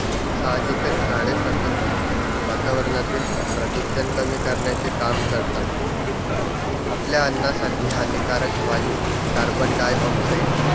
साहजिकच झाडे सतत वातावरणातील प्रदूषण कमी करण्याचे काम करतात. आपल्या अन्नासाठी हानिकारक वायू carbon dioxide